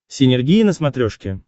синергия на смотрешке